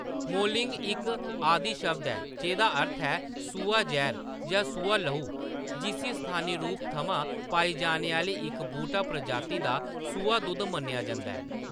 Moulding इक आदि शब्द ऐ जेह्‌दा अर्थ ऐ सूहा जैह्‌‌र जां सूहा लहु, जिसी स्थानी रूप थमां पाई जाने आह्‌‌‌ली इक बूह्‌‌टा प्रजाति दा सूहा दुद्ध मन्नेआ जंदा ऐ।